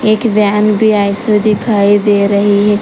एक वैन भी ऐसे दिखाई दे रही है।